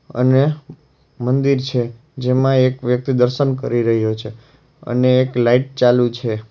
અને મંદિર છે જેમાં એક વ્યક્તિ દર્શન કરી રહયો છે અને એક લાઈટ ચાલુ છે.